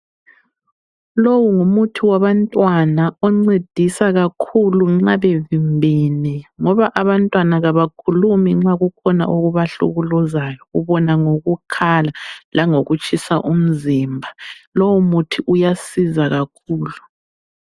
Lowu ngumuthi wabantwana oncedisa kakhulu nxa bevimbene ngoba abantwana kabakhulumi nxa kukhona okubahlukuluzayo ubona ngokukhala langokutshisa umzimba. Lowo muthi uyasiza kakhulu.